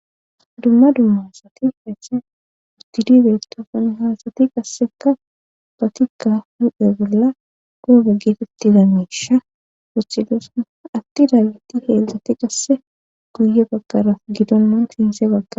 Dumma dummasati hethen ustidibetofan haasati qasseka batikka huphe bolla goobe geetetti damisha woxidosa atti daaggiti heedzdzati qasse guye bakaraaf gidonnan sinse baggaa.